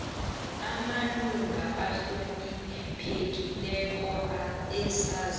amalunga ahloniphekileko asazi